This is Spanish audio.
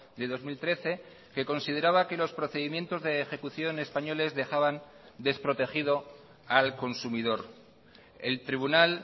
de dos mil trece que consideraba que los procedimientos de ejecución españoles dejaban desprotegido al consumidor el tribunal